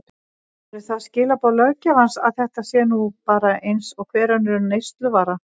Eru það skilaboð löggjafans að þetta sé nú bara eins og hver önnur neysluvara?